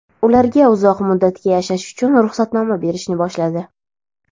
ularga uzoq muddatga yashash uchun ruxsatnoma berishni boshladi.